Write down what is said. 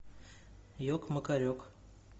ек макарек